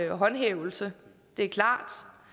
håndhævelse det er klart